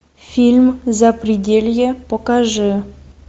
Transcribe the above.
фильм запределье покажи